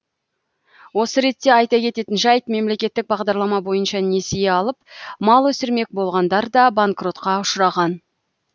осы ретте айта кететін жайт мемлекеттік бағдарлама бойынша несие алып мал өсірмек болғандар да банкротқа ұшыраған